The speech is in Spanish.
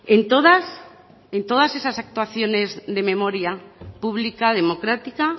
en todas esas actuaciones de memoria pública democrática